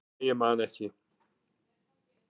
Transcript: nei, ég man ekki